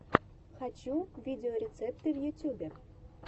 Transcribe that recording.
хочу видеорецепты в ютьюбе